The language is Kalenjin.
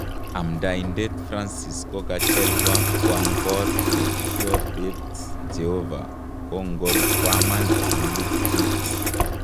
amdaitet Francis kokachelwa kwang kot ne kiotet jehova kongor kwaman en liftit